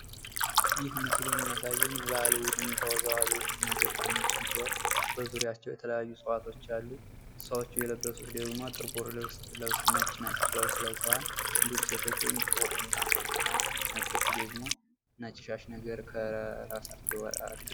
ይህ ምስል የሚያሳየን የባህል ቡድን ተወዛዋዦችና ዘፋኞችን ሲሆን በዙሪያቸው የተለያዩ ዕጽዋቶች አሉ። ሰዎቹ የለበሱት ደግሞ ጥቁር ልብስ ለብሰው ነጭ ነጭ ልብስ ለብሰዋል። እንድሁም ሴቶቹ ጥቁር ጥምጣም ጠምጥመዋል። ነጮቹ ደግሞ ነጭ ሻሽ ነገር ከራሳቸው አድርገዋል።